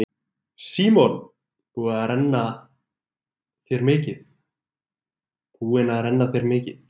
Símon: Búin að renna þér mikið?